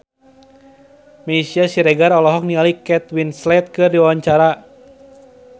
Meisya Siregar olohok ningali Kate Winslet keur diwawancara